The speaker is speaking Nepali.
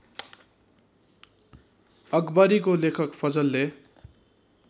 अकबरीको लेखक फजलले